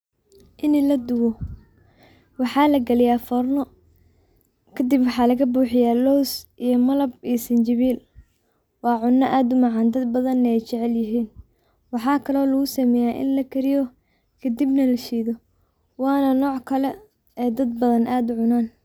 Ini ladowoh waxa lagaliyah furno, kadib waxa lagaboxiyah loos iyo malab iyo sinjibli, waxuna add u macan dad bathan Aya jaceelyahin, waxakali oo lagu sameyah ini lagariyoh kadibnah lasheethoh Wana nockali ee dad bathan aad u cunanan.